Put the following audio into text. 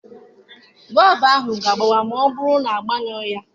Bọọbụ ahụ ga-agbawa ma ọ bụrụ na a gbanyughị ya.